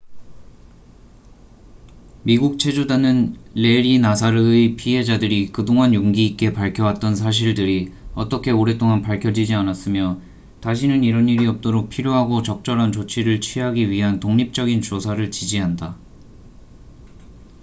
미국 체조단은 래리 나사르의 피해자들이 그동안 용기 있게 밝혀왔던 사실들이 어떻게 오랫동안 밝혀지지 않았으며 다시는 이런 일이 없도록 필요하고 적절한 조치를 취하기 위한 독립적인 조사를 지지한다